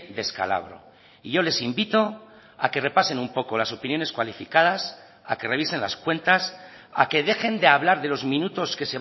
descalabro y yo les invito a que repasen un poco las opiniones cualificadas a que revisen las cuentas a que dejen de hablar de los minutos que